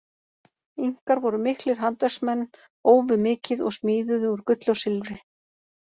Inkar voru miklir handverksmenn, ófu mikið og smíðuðu úr gulli og silfri.